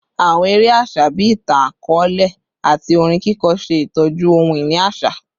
Awọn ere aṣa bii itan-akọọlẹ ati orin kiko ṣe itọju ohun-ini aṣa